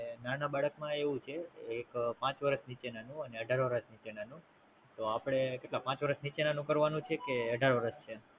નાના બાળક માં એવું છે, એક પાંચ વર્ષ નીચેના નુ ને અઠાર નીચેના નુ, તો આપડે કેટલાં પાંચ વર્ષ નીચેના નું કરવા નું છે કે અઢાર વર્ષ નીચેના નું.